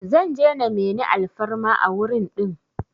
Zan je na meni alfarma a wurin din